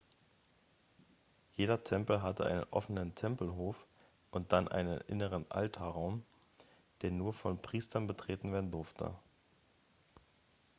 jeder tempel hatte einen offenen tempelhof und dann einen inneren altarraum der nur von priestern betreten werden durfte